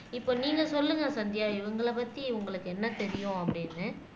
இப்ப நீங்க சொல்லுங்க சந்தியா இவங்கள பத்தி உங்களுக்கு என்ன தெரியும் அப்படின்னு